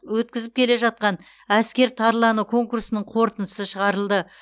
өткізіп келе жатқан әскер тарланы конкурсының қорытындысы шығарылды